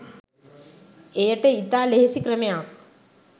එයට ඉතා ලෙහෙසි ක්‍රමයක්